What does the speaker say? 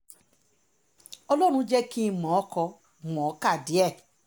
ọlọ́run jẹ́ kí n mọ̀ ọ́n kó mọ̀ ọ́n kà díẹ̀